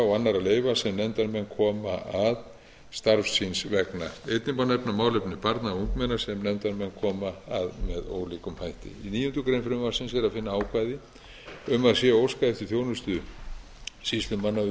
sem nefndarmenn koma að starfs síns vegna einnig má nefna málefni barna og ungmenna sem nefndarmenn koma að með ólíkum hætti í níundu grein frumvarpsins er að finna ákvæði um að sé óskað eftir þjónustu sýslumanna